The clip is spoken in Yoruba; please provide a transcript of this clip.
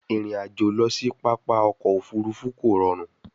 Irin ajo lọ si papa ọkọ ofurufu ko rọrun